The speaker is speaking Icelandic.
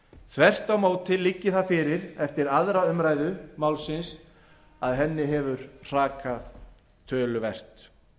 þvert á móti liggi það fyrir eftir aðra umræðu málsins að henni hefur rakið töluvert